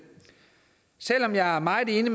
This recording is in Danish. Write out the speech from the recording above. selv om jeg er meget enig